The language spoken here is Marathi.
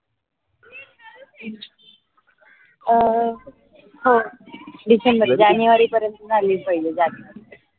अं हो december january परेनत झाली पाहिजे